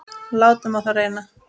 Látum á það reyna!